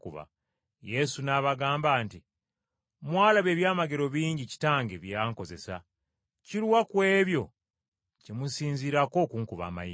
Yesu n’abagamba nti, “Mwalaba ebyamagero bingi Kitange bye yankozesa, kiruwa ku ebyo kye musinziirako okunkuba amayinja?”